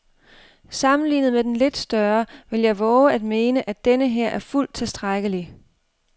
Sammenlignet med den lidt større vil jeg vove at mene, at denneher er fuldt tilstrækkelig.